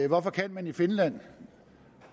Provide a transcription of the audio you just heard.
hvorfor kan man i finland